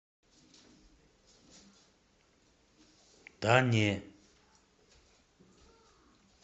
да не